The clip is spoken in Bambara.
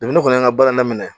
ne kɔni y'an ka baara daminɛ